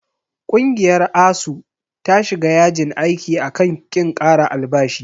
Ƙungiyar ASUU ta shiga yajin aiki a kan ƙin ƙara albashi.